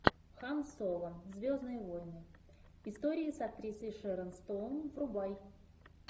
хан соло звездные войны истории с актрисой шерон стоун врубай